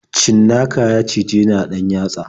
Cinnaka ya cijeni a ɗan yatsa.